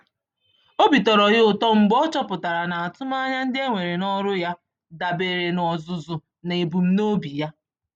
Obi tọrọ ya ụtọ mgbe ọ chọpụtara na atụm ányá ndị enwere n'ọrụ ya, dabeere n'ọzụzụ na ebum nobi onyé